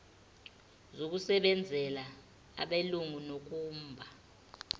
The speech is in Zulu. zokusebenzela abelungu nokumba